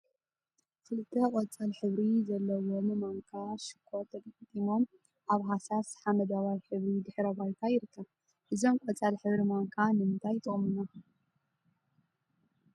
ክልተ ቆፃል ሕብሪ ዘለዎም ማንካ ሽኮር ተገጣጢሞም አብ ሃሳስ ሓመደዋይ ሕብሪ ድሕረ ባይታ ይርከብ፡፡ እዞም ቆፃል ሕብሪ ማንካ ንምንታይ ይጠቅሙና?